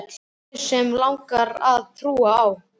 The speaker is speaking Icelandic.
guð sem mig langar að trúa á.